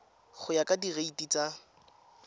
go ya ka direiti tsa